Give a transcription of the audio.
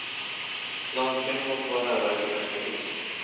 Landstingen måste vara herrar i sina egna hus.